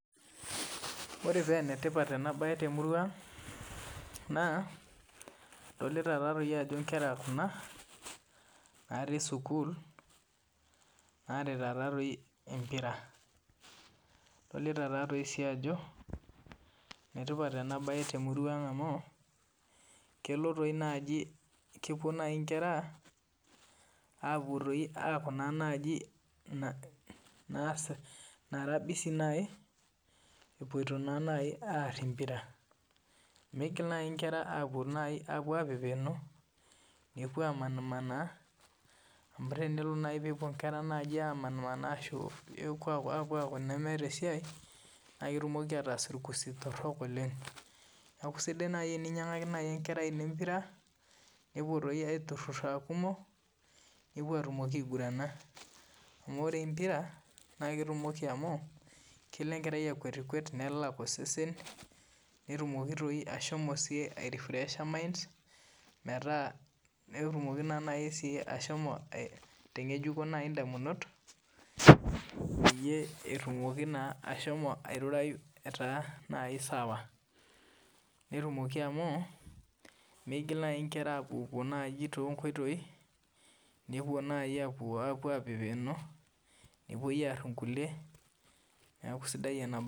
Ore pee enetipat ena mbae temurua ang edolita Ajo Nkera Kuna natii sukuul naarita empira edolita Ajo enetipat ena mbae temurua ang amu kepuo naaji enkera aaku naara busy naaji epuoito naa aar empira migil naaji enkera apepenk nepuo amanaa amu tenelo naaji peepuo Nkera naaji amanaa ashu eku nemetaa esiai naa ketumoki ataas irkusi torok oleng neeku sidai naaji eninyiangaki enkerai eno empira nepuo aitururo naaji aa kumok nepuo atumoki aigurana amu ore empira naa ketumoki amu kelo enkerai akwetikwet nelak osesen netumoki doi ashomo ai refresher minds petumoki ashomo aitangejuko edamunot peeyie etumoki naa ashomo airurai etaa sawa netumoki amu migil naaji enkera apuopuo too nkoitoi nepuo naaji nepuo apepeno nepuo aar enkulie neeku sidai ena mbae